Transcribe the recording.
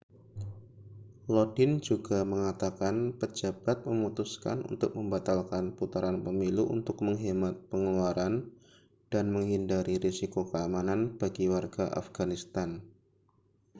lodin juga mengatakan pejabat memutuskan untuk membatalkan putaran pemilu untuk menghemat pengeluaran dan menghindari risiko keamanan bagi warga afghanistan